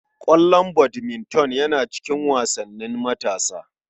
Ƙwallon badminton yana cikin wasannin matasa.